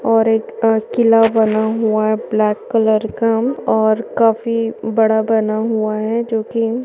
और एक किला बना हुआ है ब्लैक कलर का और काफी बड़ा बना हुआ है जोकी--